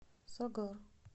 сагар